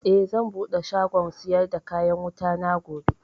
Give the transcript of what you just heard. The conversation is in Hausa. Eh, zan buɗe shagon siyar da kayan wutana gobe